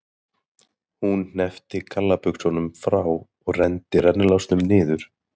Hún hneppti gallabuxunum frá og renndi rennilásnum niður.